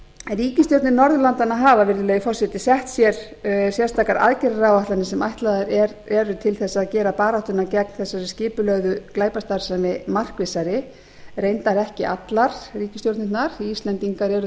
ríkisstjórnir norðurlandanna hafa virðulegi forseti sett sér sérstakar aðgerðaáætlanir sem ætlaðar eru til þess að gera baráttuna gegn þessari skipulögðu glæpastarfsemi markvissari reyndar ekki allar ríkisstjórnirnar því að íslendingar eru